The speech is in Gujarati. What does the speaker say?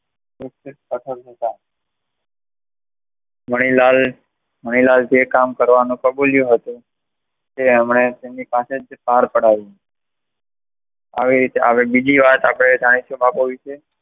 મનીલાલ મનીલાલે જે કામ કરવાનું કબૂલ્યું હતું તેમની પાસે જ પાર પાડ્યું હવે આપણે બીજી વાત જાણીશું બાપુ વિશે